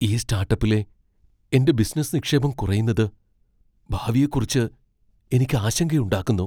ഈ സ്റ്റാർട്ടപ്പിലെ എന്റെ ബിസിനസ്സ് നിക്ഷേപം കുറയുന്നത് ഭാവിയെക്കുറിച്ച് എനിക്ക് ആശങ്കയുണ്ടാക്കുന്നു.